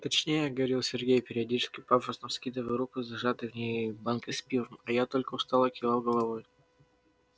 точнее говорил сергей периодически пафосно вскидывая руку с зажатой в ней банкой с пивом а я только устало кивал головой